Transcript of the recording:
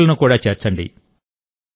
ఇతరులను కూడా చేర్చండి